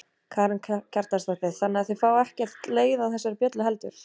Karen Kjartansdóttir: Þannig að þið fáið ekkert leið á þessari bjöllu heldur?